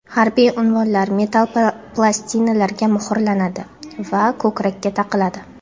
Harbiy unvonlar metall plastinalarga muhrlanadi va ko‘krakka taqiladi.